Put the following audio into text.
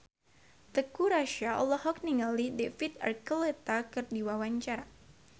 Teuku Rassya olohok ningali David Archuletta keur diwawancara